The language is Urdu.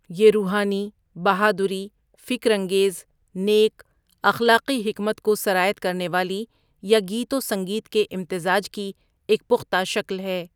یہ روحانی، بہادری، فکر انگیز، نیک، اخلاقی حکمت کو سرایت کرنے والی یا گیت و سنگیت کے امتزاج کی ایک پختہ شکل ہے۔